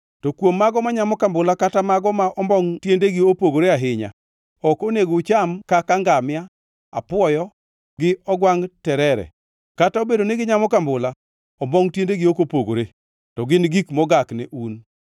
To kuom mago manyamo kambula kata mago ma ombongʼ tiendegi opogore ahinya, ok onego ucham kaka ngamia, apwoyo, gi ogwangʼ terere kata obedo ni ginyamo kambula, ombongʼ tiendegi ok opogore, to gin gik mogak ne un.